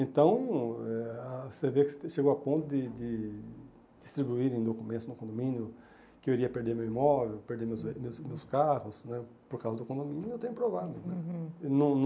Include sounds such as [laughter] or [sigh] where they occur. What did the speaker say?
Então, eh ah você vê que chegou a ponto de de distribuírem documentos no condomínio, que eu iria perder meu imóvel, perder meus [unintelligible] meus carros né, por causa do condomínio, eu tenho provado. Uhum